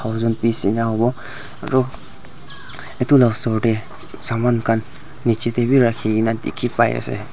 wooden piece ena howo aro edu la osor tae saman khan nichae tae bi rakhikaena dikhipaiase.